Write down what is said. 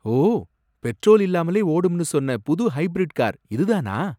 ஓ! Petrol இல்லாமலே ஓடும்னு சொன்ன புது ஹைபிரிட் கார், இதுதானா?